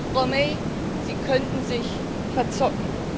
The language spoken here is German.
Frau May, Sie könnten sich verzocken.